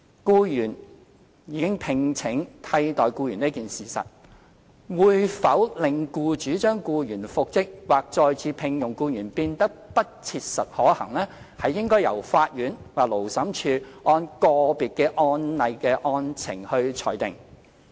僱主已聘請替代僱員這一事實，會否令僱主將僱員復職或再次聘用僱員變得不切實可行，應由法院或勞審處按個別案例的案情裁定。